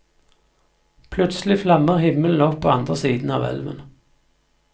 Plutselig flammer himmelen opp på andre siden av elven.